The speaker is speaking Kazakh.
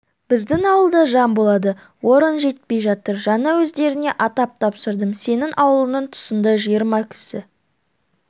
біздің ауылда жан болады орын жетпей жатыр жаңа өздеріне атап тапсырдым сенің аулыңның тұсында жиырма кісі